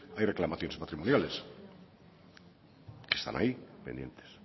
hay reclamaciones patrimoniales que están ahí pendientes